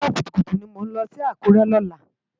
Àárò kútúkútú ni mó nlò si Akure lòlá